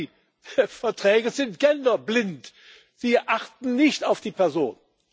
Klar, Verträge sind genderblind, sie achten nicht auf die Person.